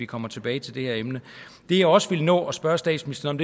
kommer tilbage til det her emne det jeg også vil nå at spørge statsministeren